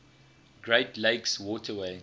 great lakes waterway